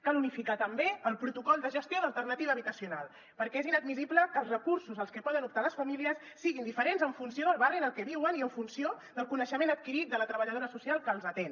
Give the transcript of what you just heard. cal unificar també el protocol de gestió d’alternativa habitacional perquè és inadmissible que els recursos als que poden optar les famílies siguin diferents en funció del barri en el que viuen i en funció del coneixement adquirit de la treballadora social que els atén